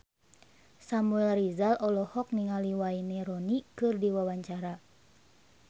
Samuel Rizal olohok ningali Wayne Rooney keur diwawancara